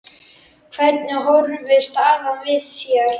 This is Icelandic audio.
Hvernig horfir staðan við þér?